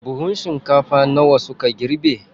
Buhun shinkafa nawa suka girbe?